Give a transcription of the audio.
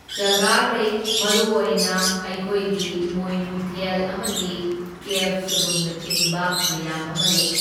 ꯖꯒꯥ ꯂꯩ, ꯃꯔꯨꯑꯣꯏꯅ ꯑꯩꯈꯣꯏꯒꯤ ꯏꯃꯣꯏꯅꯨ ꯊꯦꯜ ꯑꯃꯗꯤ ꯀꯦꯚ ꯁꯨꯔꯨꯡꯅꯆꯤꯡꯕ ꯃꯌꯥꯝ ꯑꯃ ꯂꯩ꯫